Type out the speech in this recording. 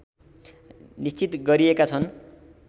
निश्चित गरिएका छन्